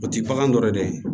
O ti bagan dɔ yɛrɛ dɛ ye